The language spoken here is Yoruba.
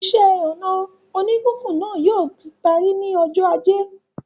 Iṣẹ́-ọnà oníkíkùn náà yóò ti parí ní ọjọ́ ajé.